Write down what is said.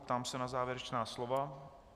Ptám se na závěrečná slova.